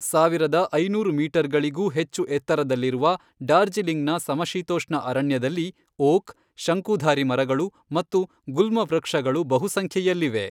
ಸಾವಿರದ ಐನೂರು ಮೀಟರ್ಗಳಿಗೂ ಹೆಚ್ಚು ಎತ್ತರದಲ್ಲಿರುವ ಡಾರ್ಜಿಲಿಂಗ್ನ ಸಮಶೀತೋಷ್ಣ ಅರಣ್ಯದಲ್ಲಿ, ಓಕ್, ಶಂಕುಧಾರಿ ಮರಗಳು, ಮತ್ತು ಗುಲ್ಮ ವೃಕ್ಷಗಳು ಬಹುಸಂಖ್ಯೆಯಲ್ಲಿವೆ.